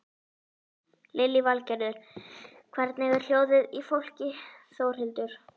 Lillý Valgerður: Hvernig er hljóðið í fólki Þórhildur?